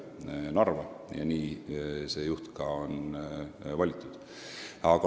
Nii on selle asutuse juht ka valitud.